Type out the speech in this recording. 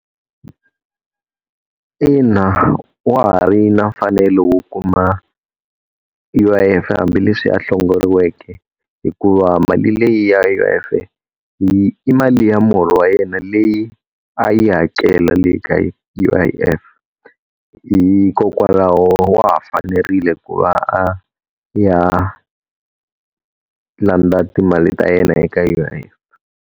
Ina, wa ha ri na mfanelo wo kuma U_I_F hambileswi a hlongoriweke, hikuva mali leyi ya U_I_F i mali ya muholo wa yena leyi a yi hakela le ka U_I_F, hikokwalaho wa ha fanerile ku va a ya landza timali ta yena eka U_I_F.